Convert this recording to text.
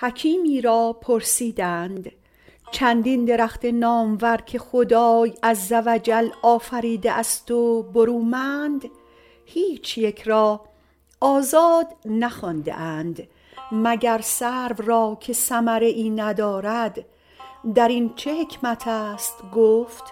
حکیمی را پرسیدند چندین درخت نامور که خدای عز و جل آفریده است و برومند هیچ یک را آزاد نخوانده اند مگر سرو را که ثمره ای ندارد در این چه حکمت است گفت